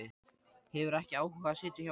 Hefur ekki áhuga á að sitja hjá honum.